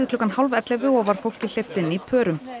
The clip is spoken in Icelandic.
klukkan hálf ellefu og var fólki hleypt inn í pörum